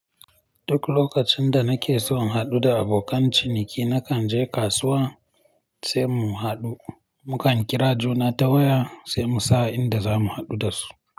Duk lokacin da nake son haɗu da abokan ciniki, nakan je kasuwa sai mu haɗu. Mukan kira juna ta waya sai mu sa'a inda zamu haɗu da su.